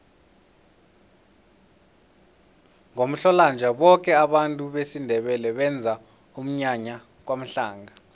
ngomhlolanja boke abavumi besindebele benza umnyanya kwamhlanga